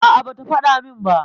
A', bata faɗa min ba.